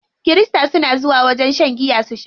Kirista suna zuwa wajen shan giya su sha.